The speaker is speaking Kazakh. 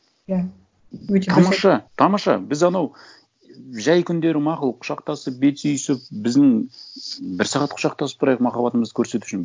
иә өте тамаша тамаша біз анау жай күндері мақұл құшақтасып бет сүйісіп біздің бір сағат құшақтасып тұрайық махаббатымызды көрсету үшін